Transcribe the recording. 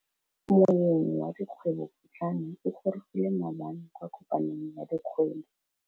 Moêng wa dikgwêbô pôtlana o gorogile maabane kwa kopanong ya dikgwêbô.